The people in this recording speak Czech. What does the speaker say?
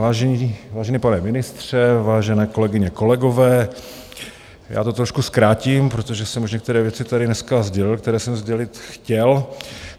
Vážený pane ministře, vážené kolegyně, kolegové, já to trošku zkrátím, protože jsem už některé věci tady dneska sdělil, které jsem sdělit chtěl.